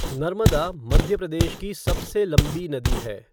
नर्मदा मध्य प्रदेश की सबसे लंबी नदी है।